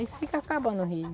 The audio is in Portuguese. Aí fica acabando o rio.